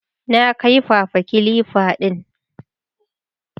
Na kaifafa kilifa din